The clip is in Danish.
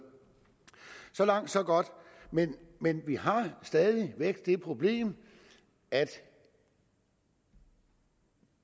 så langt så godt men men vi har stadig væk det problem at vi